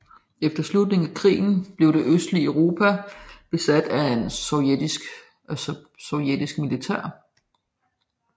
Efter afslutningen af krigen blev det østlige Europa besat af sovjetisk militær